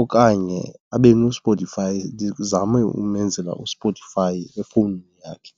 Okanye abe noSpotify, ndizame umenzela uSpotify efowunini yakhe.